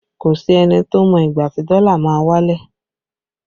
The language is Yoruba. Kò sí ẹni tó mọ ìgbà tí dọ́là máa wálẹ̀